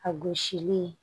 A gosili